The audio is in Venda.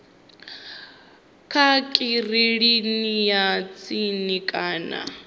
kha kiliniki ya tsini kana